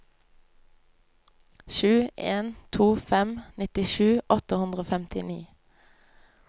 sju en to fem nittisju åtte hundre og femtini